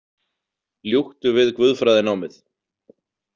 Ljúktu við guðfræðinámið